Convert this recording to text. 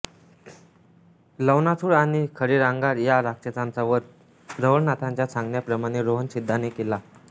लवणासूर आणि खदिरांगार या राक्षसांचा वध रवळनाथांच्या सांगण्याप्रमाणे सोहंसिद्धाने केला